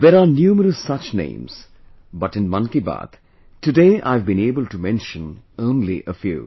there are numerous such names, but in Mann Ki Baat, today I have been able to mention only a few